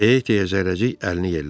E deyə Zərrəcik əlini yellədi.